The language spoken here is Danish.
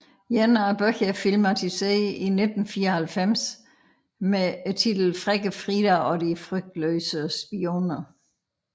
En af bøgerne er filmatiseret i 1994 med titlen Frække Frida og de frygtløse spioner